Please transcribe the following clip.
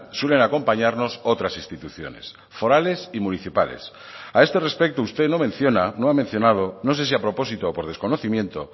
suelen acompañarnos otras instituciones forales y municipales a este respecto usted no menciona no ha mencionado no sé si a propósito o por desconocimiento